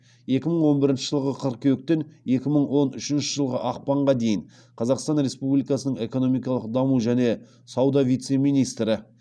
екі мың он бірінші жылғы қыркүйектен екі мың он үшінші жылғы ақпанға дейін қазақстан республикасының экономикалық даму және сауда вице министрі